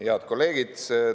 Head kolleegid!